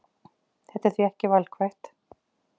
Þetta er því ekki valkvætt